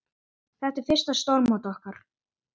Þetta er fyrsta stórmót okkar.